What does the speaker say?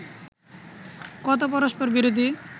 কত পরস্পরবিরোধী